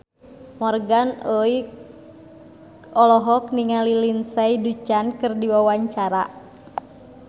Morgan Oey olohok ningali Lindsay Ducan keur diwawancara